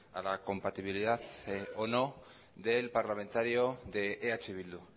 a la compatibilidad o no del parlamentario de eh bildu